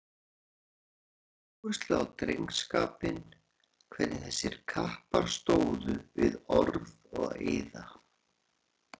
Hann lagði mikla áherslu á drengskapinn, hvernig þessir kappar stóðu við orð og eiða.